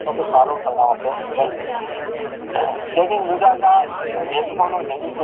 જો કે સારું પરીણામ આપણે મેળવી શકીએ શેરડીન